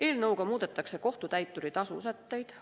Eelnõuga muudetakse kohtutäituri tasu sätteid.